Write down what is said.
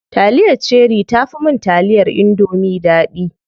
Taliyar cherie tafi mun taliyar indomie daɗi.